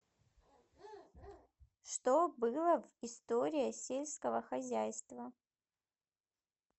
что было в история сельского хозяйства